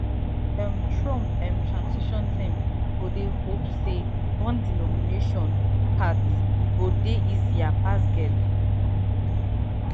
um trump um transition team go dey hope say bondi nomination path go dey easier pass gaetz own